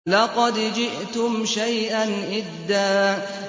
لَّقَدْ جِئْتُمْ شَيْئًا إِدًّا